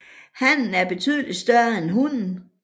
Hannen er betydeligt større end hunnen